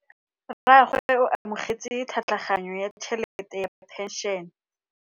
Rragwe o amogetse tlhatlhaganyô ya tšhelête ya phenšene.